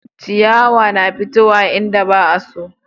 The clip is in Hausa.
ciyawa na fitowa inda san su